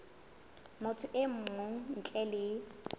motho e mong ntle le